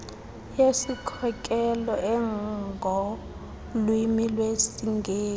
yesikhokelo engolwimi lwesingesi